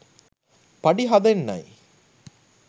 පඩි හදන්නෙයි